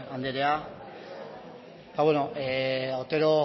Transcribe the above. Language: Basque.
andrea ba bueno otero